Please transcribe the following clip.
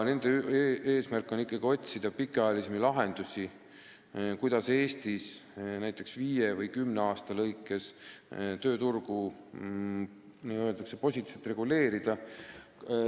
Nende eesmärk on otsida pikaajalisi lahendusi, kuidas Eestis näiteks viie või kümne aasta jooksul tööturgu n-ö positiivselt reguleerida.